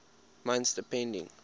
months depending